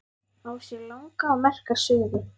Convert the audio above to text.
Á sér langa og merka sögu.